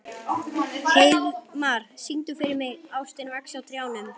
Heiðmar, syngdu fyrir mig „Ástin vex á trjánum“.